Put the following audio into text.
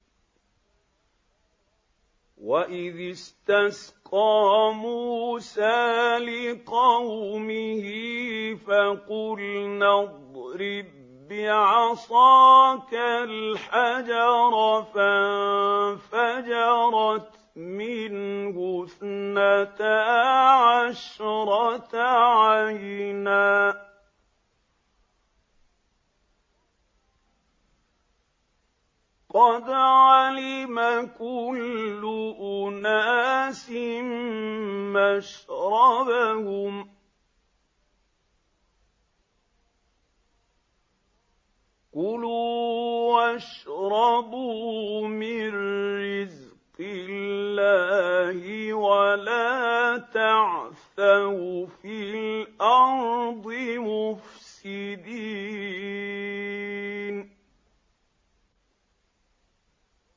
۞ وَإِذِ اسْتَسْقَىٰ مُوسَىٰ لِقَوْمِهِ فَقُلْنَا اضْرِب بِّعَصَاكَ الْحَجَرَ ۖ فَانفَجَرَتْ مِنْهُ اثْنَتَا عَشْرَةَ عَيْنًا ۖ قَدْ عَلِمَ كُلُّ أُنَاسٍ مَّشْرَبَهُمْ ۖ كُلُوا وَاشْرَبُوا مِن رِّزْقِ اللَّهِ وَلَا تَعْثَوْا فِي الْأَرْضِ مُفْسِدِينَ